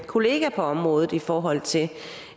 kollega på området i forhold til